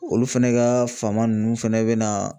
Olu fɛnɛ ka fama nunnu fɛnɛ bɛna